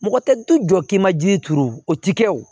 Mɔgɔ tɛ jɔ k'i ma ji turu o ti kɛ wo